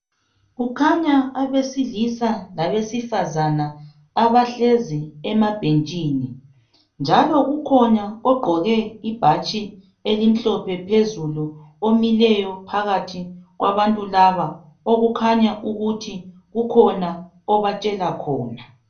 Kukhanya abesilisa labesifazana abahlezi ema bhentshini njalo kukhona ogqoke ibhatshi elimhlophe phezulu omileyo phakathi kwabantu laba okukhanya ukuthi kukhona obatshela khona